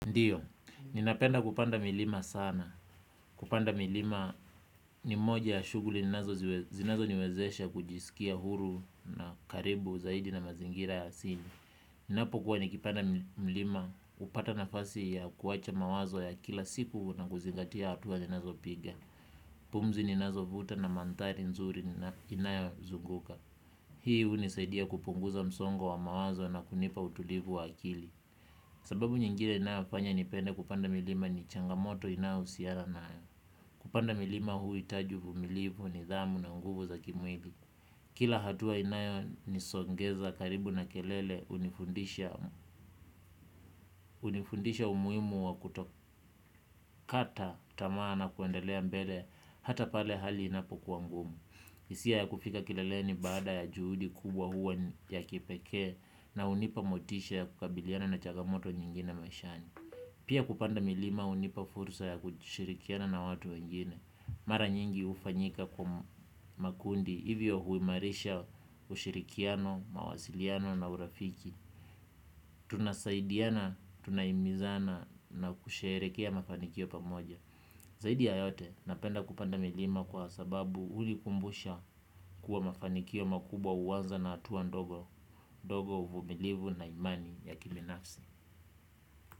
Ndiyo, ninapenda kupanda milima sana. Kupanda milima ni moja ya shuguli zinazo niwezesha kujisikia huru na karibu zaidi na mazingira ya asini. Ninapo kuwa nikipanda mlima upata nafasi ya kuwacha mawazo ya kila siku na kuzingatia hatua zinazo piga. Pumzi ninazo vuta na mandhari nzuri ninayo zunguka. Hii unisaidia kupunguza msongo wa mawazo na kunipa utulivu wa akili. Sababu nyingine inayofanya nipende kupanda milima ni changamoto inayo usiana nayo. Kupanda milima huitaji uvumilivu nidhamu na nguvu za kimwili. Kila hatua inayo nisongeza karibu na kelele unifundisha umuimu wa kutokata tamaa na kwendelea mbele hata pale hali inapo kua ngumu. Isia ya kufika kileleni baada ya juhudi kubwa huwa ya kipekee na unipa motisha ya kukabiliana na changamoto nyingine maishani. Pia kupanda milima unipa fursa ya kushirikiana na watu wengine. Mara nyingi ufanyika kwa makundi. Hivyo huimarisha ushirikiano, mawasiliano na urafiki. Tunasaidiana, tunaimizana na kusherekea mafanikio pamoja. Zaidi ya yote, napenda kupanda milima kwa sababu ulikumbusha kuwa mafanikio makubwa uanza na atuwa ndogo, ndogo uvumilivu na imani ya kibinafsi.